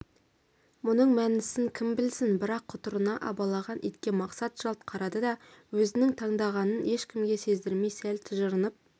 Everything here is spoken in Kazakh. мұның мәнісін кім білсін бірақ құтырына абалаған итке мақсат жалт қарады да өзінің таңданғанын ешкімге сездірмей сәл тыжырынып